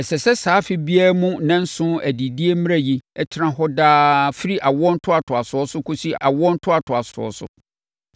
Ɛsɛ sɛ saa afe biara mu nnanson adidie mmara yi tena hɔ daa firi awoɔ ntoatoasoɔ so kɔsi awoɔ ntoatoasoɔ so.